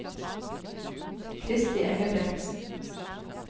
Kristi Engebretsen